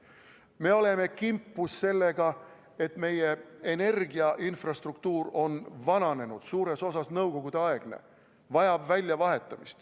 Me oleme kimpus sellega, et meie energiainfrastruktuur on vananenud, suures osas nõukogudeaegne, vajab väljavahetamist.